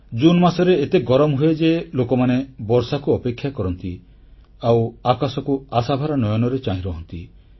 June ମାସରେ ଏତେ ଗରମ ହୁଏ ଯେ ଲୋକମାନେ ବର୍ଷାକୁ ଅପେକ୍ଷା କରନ୍ତି ଆଉ ଆକାଶକୁ ଆଶାଭରା ନୟନରେ ଚାହିଁ ରହନ୍ତି